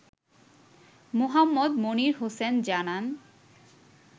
মোহাম্মদ মনির হোসেন জানান